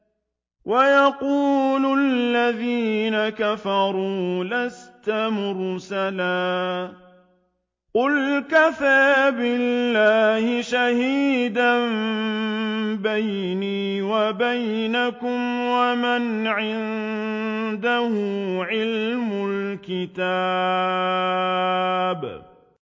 وَيَقُولُ الَّذِينَ كَفَرُوا لَسْتَ مُرْسَلًا ۚ قُلْ كَفَىٰ بِاللَّهِ شَهِيدًا بَيْنِي وَبَيْنَكُمْ وَمَنْ عِندَهُ عِلْمُ الْكِتَابِ